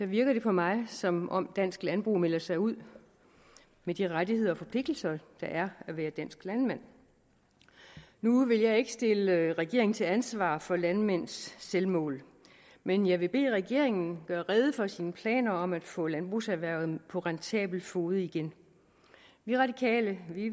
virker det på mig som om dansk landbrug melder sig ud af de rettigheder og forpligtelser der er at være dansk landmand nu vil jeg ikke stille regeringen til ansvar for landmænds selvmål men jeg vil bede regeringen gøre rede for sine planer om at få landbrugserhvervet på rentabel fode igen vi radikale